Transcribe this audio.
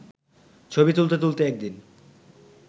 ছবি তুলতে তুলতে একদিন